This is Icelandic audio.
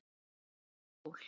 En stundum sól.